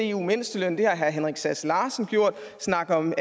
eu mindsteløn det har herre henrik sass larsen gjort snakke om